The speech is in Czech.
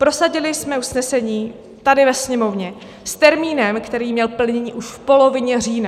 Prosadili jsme usnesení tady ve Sněmovně s termínem, který měl termín už v polovině října.